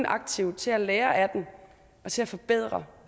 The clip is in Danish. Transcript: aktivt til at lære af den og til at forbedre